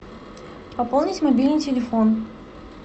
пополнить мобильный телефон